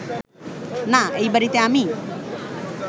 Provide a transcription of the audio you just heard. না, এই বাড়িতে আমি